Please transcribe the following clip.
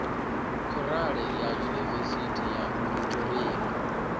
khorale ya yunivesithi ya pretoria